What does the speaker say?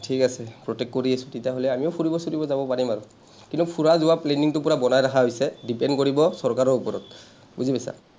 ঠিক আছে, protect কৰি আছো। তেতিয়াহ’লে আমিও ফুৰিব চুৰিব যাব পাৰিম আৰু। কিন্তু ফুৰা যোৱাৰ planning টো পোৰা বনাই ৰাখা হৈছে। depend কৰিব চৰকাৰৰ ওপৰত। বুজি পাইছা?